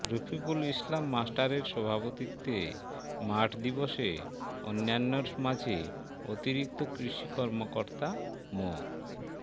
রফিকুল ইসলাম মাস্টারের সভাপতিত্বে মাঠ দিবসে অন্যান্যের মাঝে অতিরিক্ত কৃষি কর্মকর্তা মো